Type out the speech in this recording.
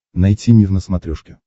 найти мир на смотрешке